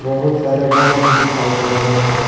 बहुत सारे रड भी दिखाई दे रहे हैं।